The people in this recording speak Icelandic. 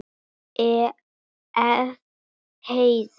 Ef. heiðar